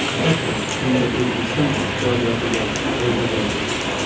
Albatta, bunda O‘zbekiston iqtisodiyotiga foyda bo‘ladi.